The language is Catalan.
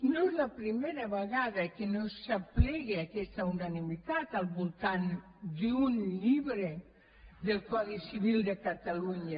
no és la primera vegada que no s’aplega aquesta unanimitat al voltant d’un llibre del codi civil de catalunya